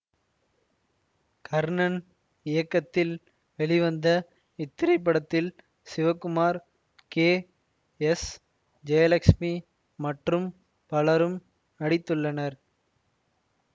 கர்ணன் இயக்கத்தில் வெளிவந்த இத்திரைப்படத்தில் சிவகுமார் கே எஸ் ஜெயலக்ஸ்மி மற்றும் பலரும் நடித்துள்ளனர்